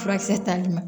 Furakisɛ tali ma